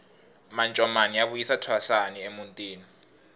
mancomani ya vuyisa thwasani emutini